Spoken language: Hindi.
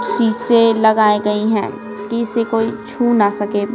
सी से लगाए गई हैं कि इसे कोई छू ना सके।